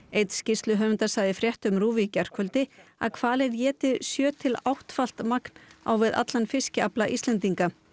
einn skýrsluhöfunda sagði í fréttum RÚV í gærkvöldi að hvalir éti sjö til áttfalt magn á við allan fiskafla Íslendinga